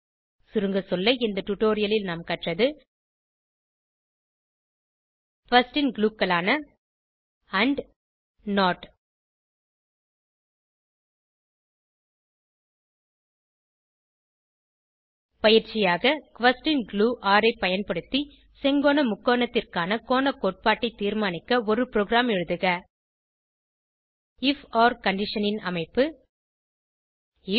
சுருங்க சொல்ல இந்த டுடோரியலில் நாம் கற்றது குயஸ்ஷன் glueகளான ஆண்ட் நோட் பயிற்சியாக குயஸ்ஷன் குளூ ஒர் ஐ பயன்படுத்தி செங்கோண முக்கோணத்திற்கான கோண கோட்பாட்டை தீர்மானிக்க ஒரு ப்ரோகிராம் எழுதுக ஐஎஃப் ஒர் கண்டிஷன் ன் அமைப்பு ஐஎஃப்